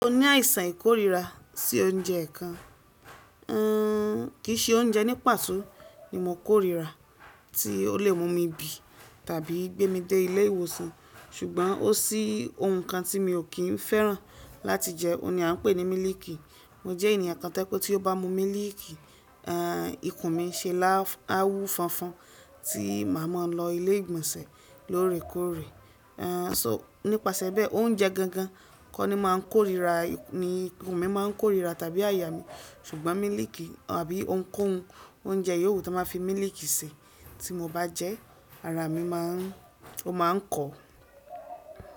O ní àìsàn ìkórira sí oúnjẹ kan. Ehn, kì í se oúnjẹ ní pàtó ni mo kórira tí ó lè mú mi bì tàbí gbé mi dé ilé ìwòsàn, ṣùgbọ́n ó ṣí ohun kan tí mi ò kín fẹ́ràn láti jẹ, òun ni à ń pè ní mílìkì. Mo jẹ́ ènìyàn kán to ye pe tí ó bá mú mílìkì, ehn, ikùn mi n ṣe lááf awu fọnfọn tí màá mọ lọ ilé ìgbọ̀nsẹ̀ lóòrèkóòrè. Ehn, so nípasẹ̀ bẹ́ẹ̀ oúnjẹ gangan kọ́ ni màá ń kórira, ni ikùn mi máa ń kórira tàbí àyà mí, ṣùgbọ́n mílìkì àbí ounkóun oúnjẹ yòówù to ma fi mílìkì ṣi tí mo bá jẹ́ ara mi máa ń ó máa ń kọ.